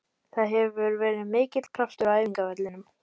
Það hefur verið mikill kraftur á æfingavellinum.